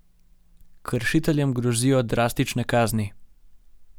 Kršiteljem grozijo drastične kazni.